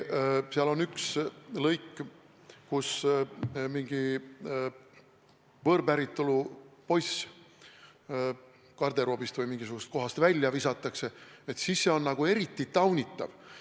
Seal on üks lõik, kus mingi võõrpäritolu poiss garderoobist või mingisugusest kohast välja visatakse, ja see on eriti taunitav.